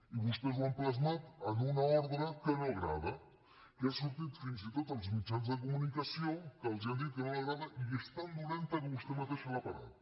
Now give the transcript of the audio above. i vostès ho han plasmat en una ordre que no agrada que ha sortit fins i tot als mitjans de comunicació que els han dit que no agrada i és tan dolenta que vostè mateixa l’ha parat